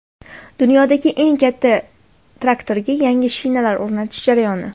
Dunyodagi eng katta traktorga yangi shinalar o‘rnatish jarayoni.